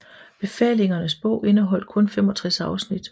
Befalingernes Bog indeholdt kun 65 afsnit